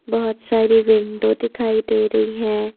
बहुत सारी विंडो दिखाई दे रही हैं।